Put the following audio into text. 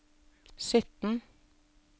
sytten